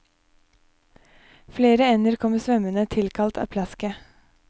Flere ender kommer svømmende, tilkalt av plasket.